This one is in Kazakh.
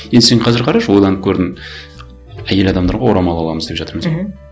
енді сен қазір қарашы ойланып көрдің әйел адамдарға орамал аламыз деп жатырмыз мхм